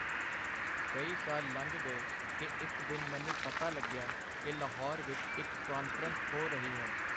ਕਈ ਸਾਲ ਲੰਘ ਗਏ ਕਿ ਇੱਕ ਦਿਨ ਮੈਨੂੰ ਪਤਾ ਲੱਗਿਆ ਕਿ ਲਾਹੌਰ ਵਿੱਚ ਇੱਕ ਕਾਨਫਰੰਸ ਹੋ ਰਹੀ ਹੈ.